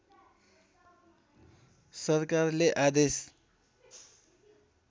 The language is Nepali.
सरकारले आदेश